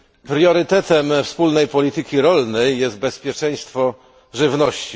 Priorytetem wspólnej polityki rolnej jest bezpieczeństwo żywności.